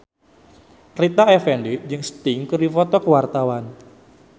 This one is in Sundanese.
Rita Effendy jeung Sting keur dipoto ku wartawan